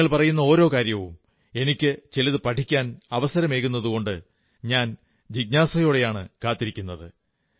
നിങ്ങൾ പറയുന്ന ഓരോ കാര്യവും എനിക്ക് ചിലത് പഠിക്കാൻ അവസരമേകുന്നതുകൊണ്ട് ഞാൻ ജിജ്ഞാസയോടെയാണു കാത്തിരിക്കുന്നത്